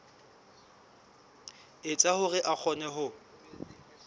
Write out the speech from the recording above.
etsa hore a kgone ho